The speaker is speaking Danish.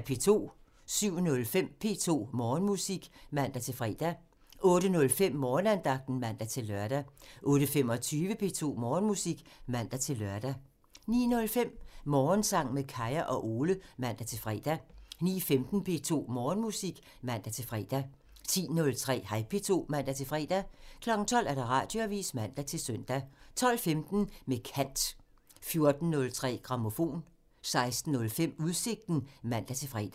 07:05: P2 Morgenmusik (man-fre) 08:05: Morgenandagten (man-lør) 08:25: P2 Morgenmusik (man-lør) 09:05: Morgensang med Kaya og Ole (man-fre) 09:15: P2 Morgenmusik (man-fre) 10:03: Hej P2 (man-fre) 12:00: Radioavisen (man-søn) 12:15: Med kant (man) 14:03: Grammofon (man-fre) 16:05: Udsigten (man-fre)